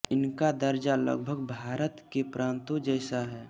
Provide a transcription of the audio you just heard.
इनका दर्जा लगभग भारत के प्रान्तों जैसा है